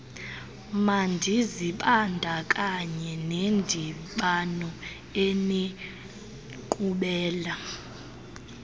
mandizibandakanye nendibano enenkqubela